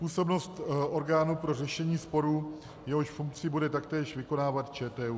Působnost orgánu pro řešení sporů, jehož funkci bude taktéž vykonávat ČTÚ.